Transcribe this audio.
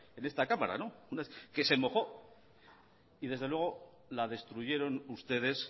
en esta cámara que se mojó y desde luego la destruyeron ustedes